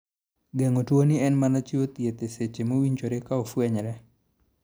Geng'o tu ni en mana chiwo thieth e seche mowinjore ka ofwenyore.